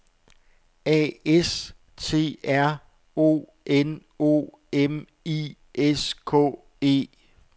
A S T R O N O M I S K E